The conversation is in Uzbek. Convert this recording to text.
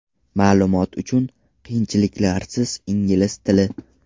Ma’lumot uchun: qiyinchiliklarsiz ingliz tili .